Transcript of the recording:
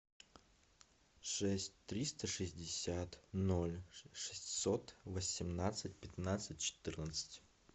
шесть триста шестьдесят ноль шестьсот восемнадцать пятнадцать четырнадцать